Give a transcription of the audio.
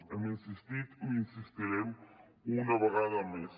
hem insistit i hi insistirem una vegada més